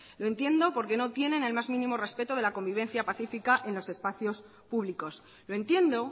y entiendo porque no tienen el más mínimo respeto de la convivencia pacifica en los espacios públicos lo entiendo